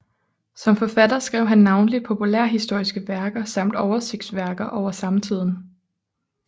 Som forfatter skrev han navnlig populærhistoriske værker samt oversigtsværker over samtiden